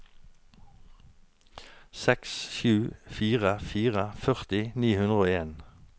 seks sju fire fire førti ni hundre og en